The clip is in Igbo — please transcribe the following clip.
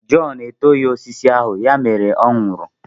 Jọn etoghị osisi ahụ, ya mere ọ nwụrụ.